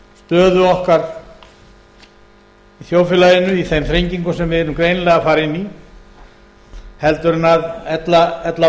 stöðu okkar í þjóðfélaginu í þeim þrengingum sem við erum greinilega að fara inn í heldur en ella